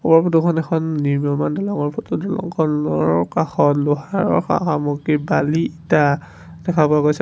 ওপৰৰ ফটো খনত এখন নিম্ময়ীমান দলংঙৰ ফটো দলংঙৰ কাষত লোহাৰৰ সা-সামগ্ৰী বালি ইটা দেখা পোৱা গৈছে।